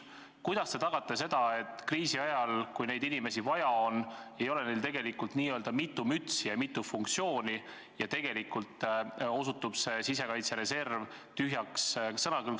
Kuidas te tagate selle, et kriisi ajal, kui neid inimesi vaja on, ei ole neil tegelikult n-ö mitu mütsi ja mitu funktsiooni, nii et tegelikult osutuks see sisekaitse reserv tühjaks sõnakõlksuks?